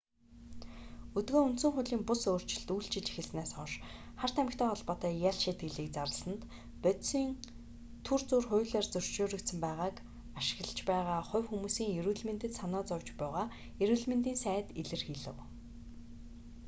өдгөө үндсэн хуулийн бус өөрчлөлт үйлчилж эхэлснээс хойш хар тамхитай холбоотой ял шийтгэлийг зарласанд бодисын түр зуур хуулиар зөвшөөрөгдсөн байгааг ашиглаж байгаа хувь хүмүүсийн эрүүл мэндэд санаа зовж буйгаа эрүүл мэндийн сайд илэрхийлэв